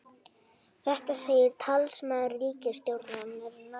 Þetta segir talsmaður ríkisstjórnarinnar